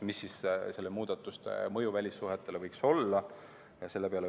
Mis nende muudatuste mõju välissuhetele võiks olla?